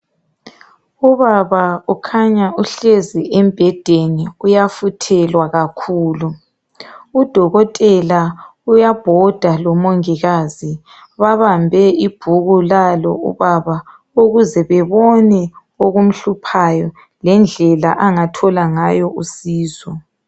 Ubaba ukhanya uhlezi embhedeni uyafuthelwa kakhulu. Udokotela uyabhoda lomongikazi babambe ibhuku lalo ubaba ukuze babone okumhluphayo lendlela angathola ngayo usizo.